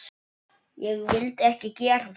Ég vildi ekki gera það.